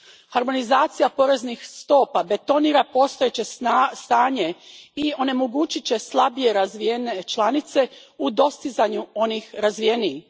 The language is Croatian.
Harmonizacija poreznih stopa betonira postojeće stanje i onemogućit će slabije razvijene članice u dostizanju onih razvijenijih.